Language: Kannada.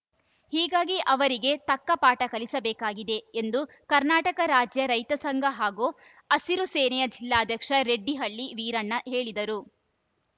ಹೀಗಾಗಿ ಅವರಿಗೆ ತಕ್ಕ ಪಾಠ ಕಲಿಸಬೇಕಾಗಿದೆ ಎಂದು ಕರ್ನಾಟಕ ರಾಜ್ಯ ರೈತ ಸಂಘ ಹಾಗೂ ಹಸಿರು ಸೇನೆಯ ಜಿಲ್ಲಾಧ್ಯಕ್ಷ ರೆಡ್ಡಿಹಳ್ಳಿ ವೀರಣ್ಣ ಹೇಳಿದರು